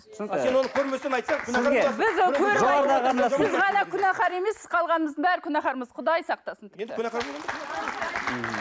а сен оны көрмесең күнәһар емессіз қалғанымыздың бәрі күнәһармыз құдай сақтасын